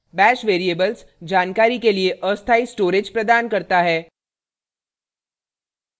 * bash variables जानकारी के लिए अस्थायी storage प्रदान करता है